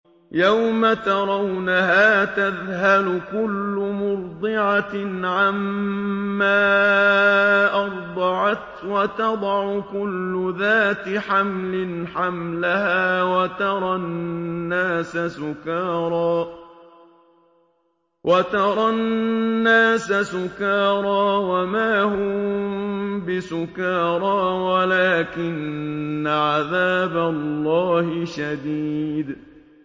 يَوْمَ تَرَوْنَهَا تَذْهَلُ كُلُّ مُرْضِعَةٍ عَمَّا أَرْضَعَتْ وَتَضَعُ كُلُّ ذَاتِ حَمْلٍ حَمْلَهَا وَتَرَى النَّاسَ سُكَارَىٰ وَمَا هُم بِسُكَارَىٰ وَلَٰكِنَّ عَذَابَ اللَّهِ شَدِيدٌ